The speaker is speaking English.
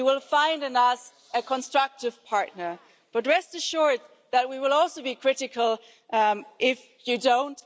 You will find in us a constructive partner, but rest assured that we will also be critical if you don't.